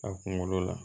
A kunkolo la